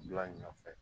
Bila ɲɛfɛ